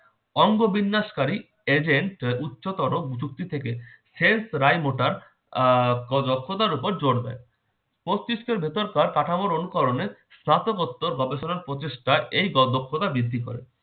অঙ্গ বিন্যাস কারী agent উচ্চতর যুক্তি থেকে health raimoter আহ দক্ষতার উপর জোর দেয়। মস্তিষ্কের ভেতরকার কাঠামোর অনুকরণে স্নতকোত্তর গবেষণার প্রচেষ্টায় এই দক্ষ~ দক্ষতা বৃদ্ধি করে।